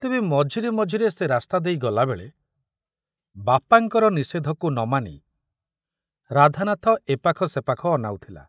ତେବେ ମଝିରେ ମଝିରେ ସେ ରାସ୍ତା ଦେଇ ଗଲାବେଳେ ବାପାଙ୍କର ନିଷେଧକୁ ନ ମାନି ରାଧାନାଥ ଏ ପାଖ ସେ ପାଖ ଅନାଉଥିଲା।